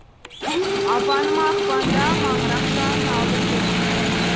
апаныма ақпанда маңырақ жанын алдырдым